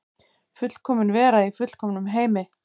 Fullkomin vera í fullkomnum heimi.